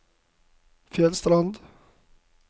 Fjellstrand